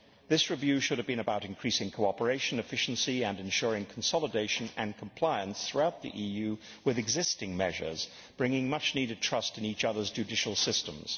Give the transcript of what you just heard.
This review should have been about increasing cooperation and efficiency and ensuring consolidation and compliance throughout the EU with existing measures, bringing much needed trust in each otherʼs judicial systems.